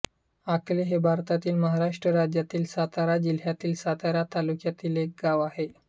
आकले हे भारतातील महाराष्ट्र राज्यातील सातारा जिल्ह्यातील सातारा तालुक्यातील एक गाव आहे